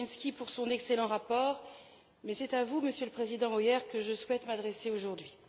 Pirinski pour son excellent rapport, mais c'est à vous, Monsieur le Président Hoyer, que je souhaite m'adresser aujourd'hui.